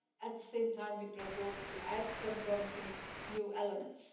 At the same time, we propose to add some promising new elements.